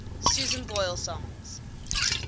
susan boyle songs